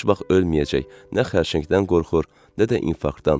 Heç vaxt ölməyəcək, nə xərçəngdən qorxur, nə də infarktdan.